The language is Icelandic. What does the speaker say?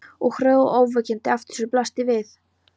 Og hröð og ógnvekjandi afturförin blasti við.